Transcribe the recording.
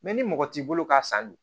ni mɔgɔ t'i bolo k'a san dun